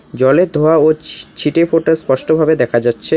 জলের ধোঁয়া ও ছি-ছিটে ফোটা স্পষ্ট ভাবে দেখা যাচ্ছে।